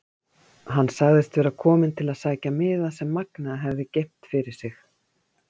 Hann sagðist vera kominn til að sækja miða sem Magnea hefði geymt fyrir sig.